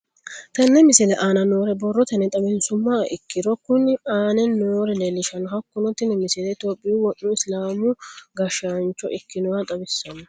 Tenne misile aana noore borrotenni xawisummoha ikirro kunni aane noore leelishano. Hakunno tinni misile tophphiyu wo'mu isilaamu gashshancho ikkinoha xawissanno.